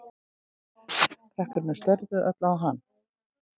Krakkarnir störðu öll á hann.